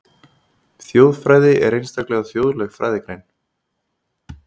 Þjóðfræði er einstaklega þjóðleg fræðigrein.